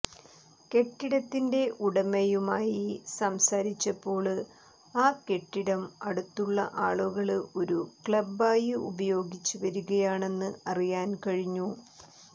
കെട്ടിടത്തിന്റെ ഉടമയുമായി സംസാരിച്ചപ്പോള് ആ കെട്ടിടം അടുത്തുള്ള ആളുകള് ഒരു ക്ലബ്ബായി ഉപയോഗിച്ച് വരികയാണെന്ന് അറിയാന് കഴിഞ്ഞു